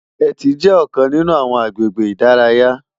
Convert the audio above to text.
Éti jè òkán ninú áwòn àgbégé idàráyá